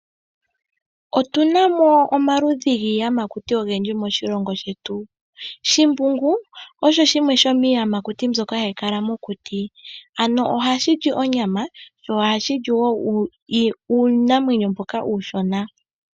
Otuna mo omaludhi giiyamakuti oyindji moshilongo shetu . Shimbungu osho shimwe shomiiyamakuti mbyoka hayi kala mokuti , ano ohashi li onyama oshowo iinamenyo mbyoka uunshona